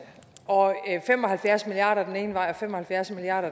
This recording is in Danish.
og fem og halvfjerds milliard kroner den ene vej og fem og halvfjerds milliard